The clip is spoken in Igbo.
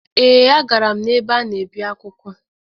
Ee, agara m n’ebe a na-ebi akwụkwọ